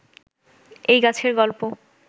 এই গাছের গল্প